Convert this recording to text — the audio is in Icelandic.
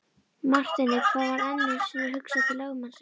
Marteini varð enn einu sinni hugsað til lögmannsins.